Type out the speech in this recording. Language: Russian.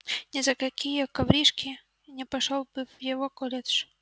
ни за какие коврижки не пошёл бы в его колледж